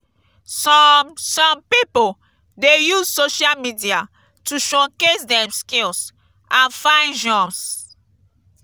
some some pipo dey use social media to showcase dem skills and find jobs.